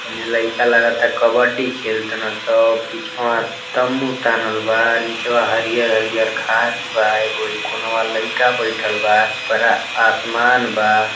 एने लईका लागता कबड्डी खेल तन स। पिछवा तम्मू तानल बा। पिछवा हरियर हरियर घास बा। एगो इ कोनवा लईका बइठल बा। ऊपरा आसमान बा।